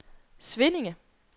Svinninge